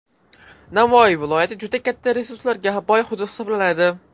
Navoiy viloyati juda katta resurslarga boy hudud hisoblanadi.